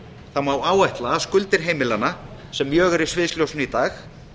þá má áætla að skuldir heimilanna sem mjög eru í sviðsljósinu í dag